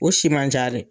O si man ca dɛ